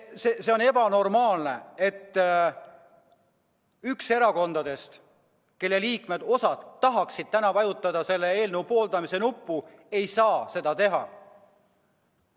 See on ebanormaalne, et kuigi osa selle erakonna liikmeid tahaks täna vajutada eelnõu pooldavat nuppu, nad ei saa seda teha.